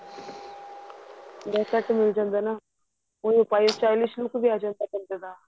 ਜੈਸਾ ਕਮੀਜ ਹੁੰਦਾ ਐ ਨਾ ਉਹ ਪਾਏ stylish look ਵੀ ਆ ਜਾਂਦਾ ਬੰਦੇ ਦਾ